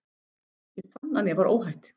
Ég fann að mér var óhætt.